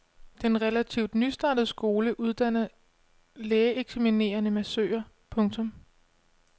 Den relativt nystartede skole uddanner lægeeksaminerede massører. punktum